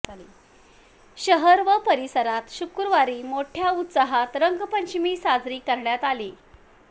शहर व परिसरात शुक्रवारी मोठय़ा उत्साहात रंगपंचमी साजरी करण्यात आली